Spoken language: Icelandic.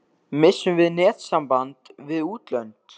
Missum við netsamband við útlönd?